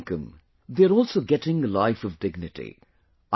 Along with income, they are also getting a life of dignity